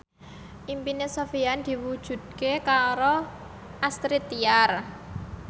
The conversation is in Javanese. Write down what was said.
impine Sofyan diwujudke karo Astrid Tiar